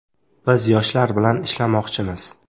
Biz yoshlar bilan ishlamoqchimiz.